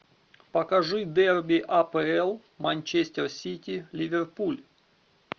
покажи дерби апл манчестер сити ливерпуль